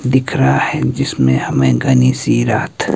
दिख रहा है जिसमें हमें घनी सी रात--